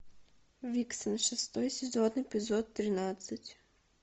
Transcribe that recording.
виксен шестой сезон эпизод тринадцать